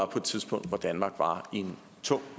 på et tidspunkt hvor danmark var i en tung